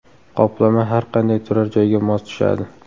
Qoplama har qanday turar joyga mos tushadi.